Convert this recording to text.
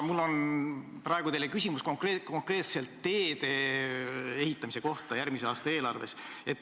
Mul on praegu teile küsimus konkreetselt teede ehitamise raha kohta järgmise aasta eelarves.